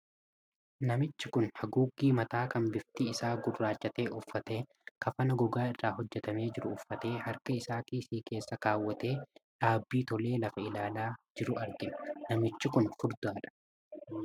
Namochi kun haguuggii mataa kan bifti isaa gurraacha ta'e uffatee, kafana gogaa irraa hojjetamee jiru uffatee, harka isaa kiisii isaa keessaa kaawwatee dhaabbii tolee lafa ilaalaa jiru argina. Namichi kun furdaadha.